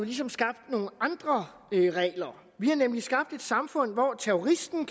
ligesom skabt nogle andre regler vi har nemlig skabt et samfund hvor terroristen